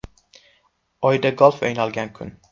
Oyda golf o‘ynalgan kun.